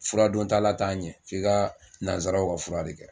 Furadon tala t'a ɲɛ f'i ka nanzaraw ka fura de kɛ.